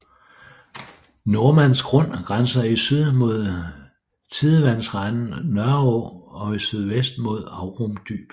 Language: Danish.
Nordmands Grund grænser i syd mod tidevandsrenden Nørreå og i sydvest mod Amrum Dyb